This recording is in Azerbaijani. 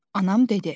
Anam dedi.